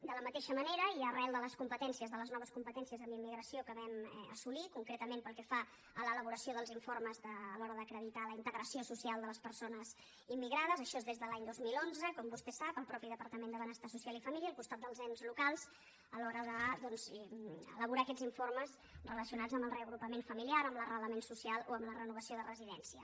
de la mateixa manera i arran de les competències de les noves competències en immigració que vam assolir concretament pel que fa a l’elaboració dels informes a l’hora d’acreditar la integració social de les persones immigrades això és des de l’any dos mil onze com vostè sap el mateix departament de benestar social i família al costat dels ens locals a l’hora doncs d’elaborar aquests informes relacionats amb el reagrupament familiar amb l’arrelament social o amb la renovació de residència